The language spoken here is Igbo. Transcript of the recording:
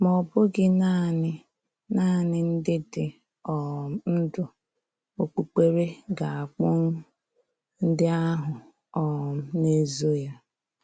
Ma ọ bụghị nanị nanị ndị dị um ndụ okpukpere ga-akpghu ndị ahụ um na-ezo ya.